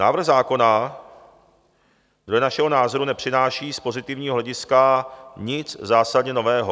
Návrh zákona dle našeho názoru nepřináší z pozitivního hlediska nic zásadně nového.